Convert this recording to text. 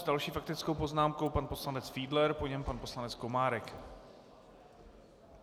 S další faktickou poznámkou pan poslanec Fiedler, po něm pan poslanec Komárek.